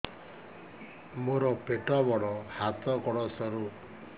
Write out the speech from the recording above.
ମୋର ପେଟ ବଡ ହାତ ଗୋଡ ସରୁ